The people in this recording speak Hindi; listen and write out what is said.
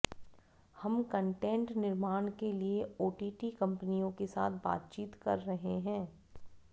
हम कंटेंट निर्माण के लिए ओटीटी कंपनियों के साथ बातचीत कर रहे हैं